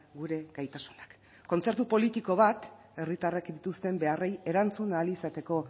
gure gaitasunak kontzertu politiko bat herritarrek dituzten beharrei erantzun ahal izateko